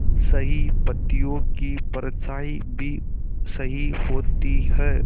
सही पत्तियों की परछाईं भी सही होती है